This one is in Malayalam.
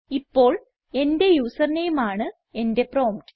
ഇപ്പോൾ എന്റെ യൂസർ നെയിം ആണ് എന്റെ പ്രോംപ്റ്റ്